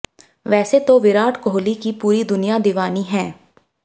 वैसे तो विराट कोहली की पूरी दुनिया दीवानी हैं